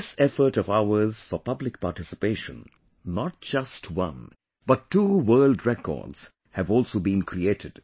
In this effort of ours for public participation, not just one, but two world records have also been created